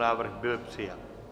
Návrh byl přijat.